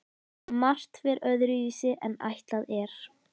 Margt fer öðruvísi en ætlað er.